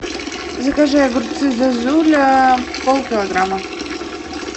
закажи огурцы зозуля пол килограмма